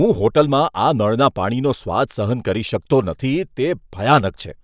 હું હોટલમાં આ નળના પાણીનો સ્વાદ સહન કરી શકતો નથી, તે ભયાનક છે.